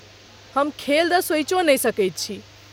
हम खेल द सोचियो नहि सकैत छी।